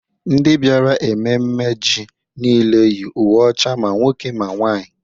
ndị bịara ememme ji niile yi uwe ọcha ma nwoke ma nwaanyị